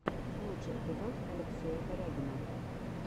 лучший эпизод алексея корягина